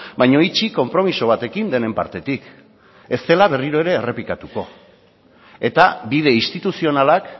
baina itxi konpromiso batekin denen partetik ez dela berriro ere errepikatuko eta bide instituzionalak